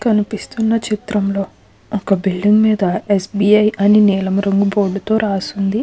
కనిపిస్తున్న చిత్రంలో ఒక బిల్డింగ్ మీద ఎ.స్బి.ఐ. అని నీలం రంగు బోర్డు తో రాసి ఉంది.